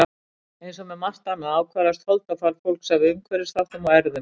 Eins og með margt annað ákvarðast holdafar fólks af umhverfisþáttum og erfðum.